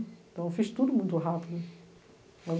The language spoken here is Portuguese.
Então, eu fiz tudo muito rápido.